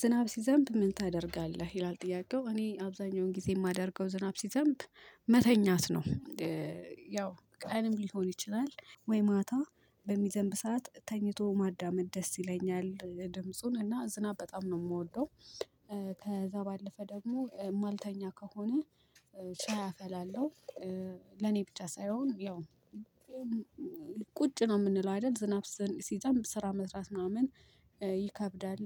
ዝናብ ሲዘንብ ምን ታደርጋለህ? ይላል ጥያቄው እኔ አብዛኛውን ጊዜ የማደርገው ዝናብ ሲዘንብ መተኛት ነው። ያው ቀንም ሊሆን ይችላል ወይ ማታ በሚዘንብ ሰዓት ተኝቶ ማዳመጥ ደስ ይለኛል ድምጹን እና ዝናብ በጣም ነው የምወደው። ከዛ ባለፈ ደግሞ ማልተኛ ከሆነ ሻይ አፈላለሁ። ለኔ ብቻ ሳይሆን ያው ቁጭ ነው የምንለው አይደል ዝናብ ሲዘንብ ስራ መስራት ምናምን ይከብዳል።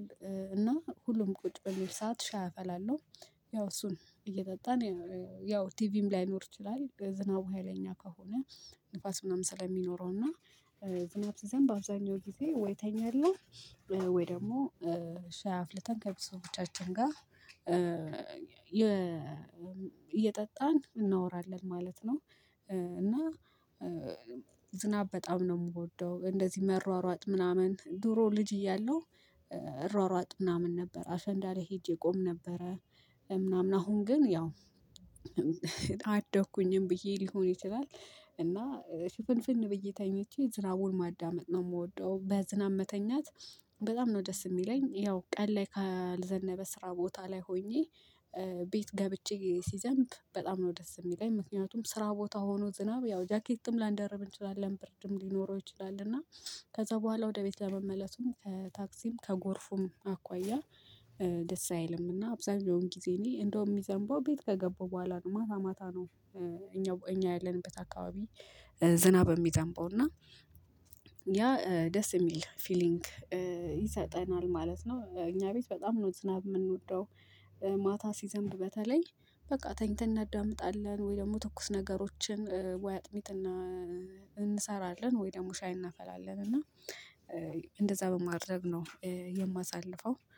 እና ሁሉም ቁጭ በሚል ሰዓት ሻይ አፈላለሁ። ያው እሱን እየጠጣን ያው ቲቪም ላይኖር ይችላል ዝናቡ ሀይለኛ ከሆነ ንፋስ ምናምን ስለሚኖረው እና። ዝናብ ሲዘንብ አብዛኛው ጊዜ ወይ ተኛለሁ ወይ ደግሞ ሻይ አፍልተን ከቤተሰቦቻችን ጋር እየጠጣን እናወራለን ማለት ነው። እና ዝናብ በጣም ነው የምወደው እንደዚህ መሯሯጥ ምናምን ድሮ ልጅ እያለሁ እሯሯጥ ምናምን ነበር አሸንዳ ላይ ሄጄ ቆም ነበረ። ምናምን አሁን ግን ያው አደኩኝም ብዬ ሊሆን ይችላል እና ሽፍንፍን ብዬ ተኝቼ ዝራቡን ማዳመጥ ነው የምወደው። በዝናብ መተኛት በጣም ነው ደስ የሚለኝ። ያው ቀን ላይ ካልዘነበ ስራ ቦታ ላይ ሆኜ ቤት ገብቼ ሲዘንብ በጣም ነው ደስ የሚለኝ። ምክንያቱም ስራ ቦታ ሆኖ ዝናብ ያው ጃኬትም ላንደርብ እንችላለን ብርድም ሊኖረው ይችላል እና ከዛ በኋላ ወደ ቤት ለመመለሱም ታክሲም ከጎርፉም አኳያ። ደስ አይልምና አብዛኛውን ጊዜ እኔ እንደውም የሚዘንበው ቤት ከገባው በኋላ ነው ማታ ማታ ነው። እኛ እኛ ያለንበት አካባቢ ዝናብ እሚዘንበው እና ያ ደስ የሚል ፊሊንግ ይሰጠናል ማለት ነው። እኛ ቤት በጣም ኖት ዝናብ የምንወደው። ማታ ሲዘንብ በተለኝ በቃ ተኝተን እናዳምጣለን ወይ ደግሞ ትኩስ ነገሮችን ወይ አጥቢት እና እንሰራለን ወይ ደግሞ ሻይ እናፈላለን። እና እንደዛ በማድረግ ነው የማሳልፈው